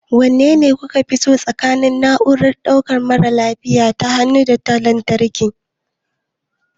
Wanne kuka fi so tsakanin na'urar ɗaukan mara lafiya ta hannu da ta lantarki?